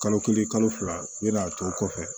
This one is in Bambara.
Kalo kelen kalo fila ne n'a to kɔfɛ